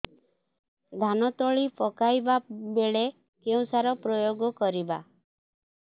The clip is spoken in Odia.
ଧାନ ତଳି ପକାଇବା ବେଳେ କେଉଁ ସାର ପ୍ରୟୋଗ କରିବା